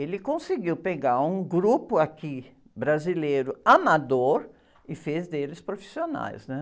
Ele conseguiu pegar um grupo aqui brasileiro amador e fez deles profissionais, né?